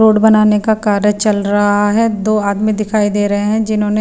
road बनाने का कार्य चल रहा है दो आदमी दिखाई दे रहे हैं जिन्होंने--